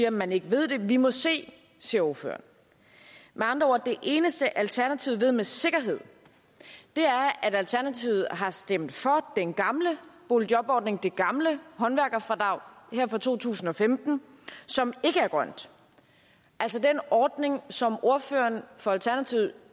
at man ikke ved det vi må se siger ordføreren med andre ord er det eneste alternativet med sikkerhed ved at alternativet har stemt for den gamle boligjobordning det gamle håndværkerfradrag her for to tusind og femten som ikke er grønt altså den ordning som ordføreren for alternativet